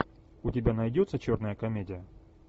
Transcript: у тебя найдется черная комедия